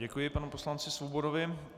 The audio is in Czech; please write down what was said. Děkuji panu poslanci Svobodovi.